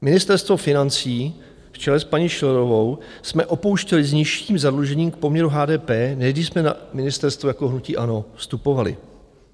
Ministerstvo financí v čele s paní Schillerovou jsme opouštěli s nižším zadlužením k poměru HDP, než když jsme na ministerstvo jako hnutí ANO vstupovali.